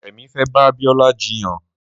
Remi fê bà Biola jiyàn